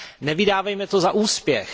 Nevydávejme to za úspěch.